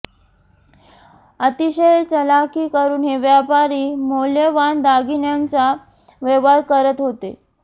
अतिशय चलाखी करून हे व्यापारी मौल्यवान दागिण्यांचा व्यवहार करत होते